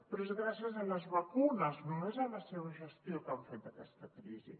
però és gràcies a les vacunes no és la seva gestió que han fet d’aquesta crisi